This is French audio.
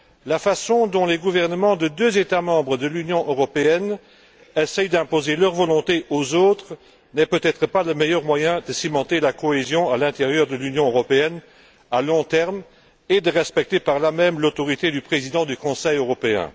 La façon dont les gouvernements de deux États membres de l'Union européenne essaient d'imposer leur volonté aux autres n'est peut être pas le meilleur moyen de cimenter la cohésion à l'intérieur de l'Union européenne à long terme et de respecter par là même l'autorité du président du Conseil européen.